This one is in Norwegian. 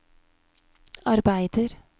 arbeider